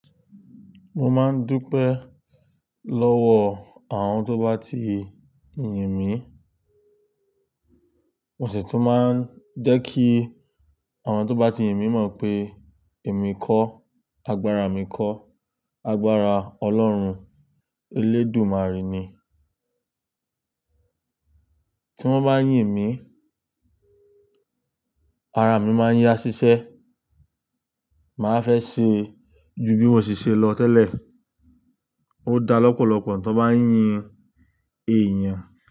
Mo máa ń dúpẹ́ lọ́wọ́. Àwọn tó bá ti. Yin mí, mo sì tún máa ń jẹ́ kí àwọn tó bá ti yin mí mọ̀ p èmi kọ́, agbára mi kọ́, agbára Ọlọ́run, Elédùmarè ni. Tí wọ́n bá yin mí, ara mi máa yá ṣiṣẹ́, màá fẹ́ ṣe. Ju bí mo ṣe lọ tẹ́lẹ̀. Ó da lọ́pọ̀lọpọ̀ tí wọ́n bá ń yin èèyàn.